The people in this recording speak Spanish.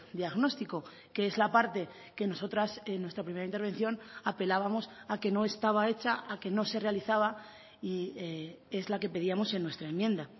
diagnóstico que es la parte que nosotras en nuestra primera intervención apelábamos a que no estaba hecha a que no se realizaba y es la que pedíamos en nuestra enmienda